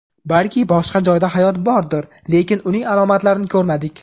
Balki boshqa joylarda hayot bordir, lekin uning alomatlarini ko‘rmadik.